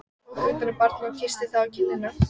Hann tók utan um barnið og kyssti það á kinnina.